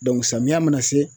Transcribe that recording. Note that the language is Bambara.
samiyɛ mana se